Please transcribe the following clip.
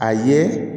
A ye